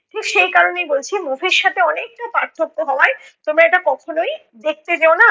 ঠিক সেই কারণেই বলছি movie র সাথে অনেকটা পার্থক্য হওয়ায় তোমরা এটা কখনোই দেখতে যেও না।